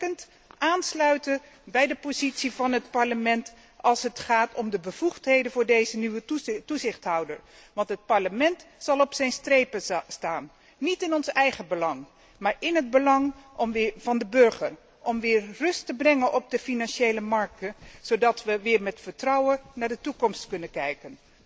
Dat betekent aansluiten bij de positie van het Parlement als het gaat om de bevoegdheden voor deze nieuwe toezichthouder, want het Parlement zal op zijn strepen staan, niet in zijn eigen belang, maar in het belang van de burger om weer rust te brengen op de financiële markten, zodat we weer met vertrouwen naar de toekomst kunnen kijken.